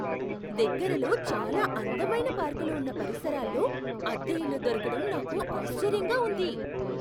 దగ్గరలో చాలా అందమైన పార్కులు ఉన్న పరిసరాల్లో అద్దె ఇల్లు దొరకడం నాకు ఆశ్చర్యంగా ఉంది.